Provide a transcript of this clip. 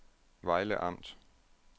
Vejle Amt